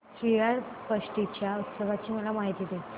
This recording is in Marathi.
श्रीयाळ षष्टी च्या उत्सवाची मला माहिती दे